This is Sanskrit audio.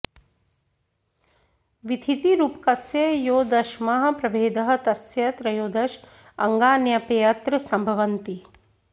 वीथीति रूपकस्य यो दशमः प्रभेदः तस्य त्रयोदश अङ्गान्यप्यत्र सम्भवन्ति